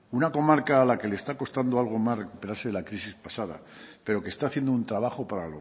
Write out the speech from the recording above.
una comarca a la que le está costando algo más recuperarse de la crisis pasada pero que está haciendo un trabajo para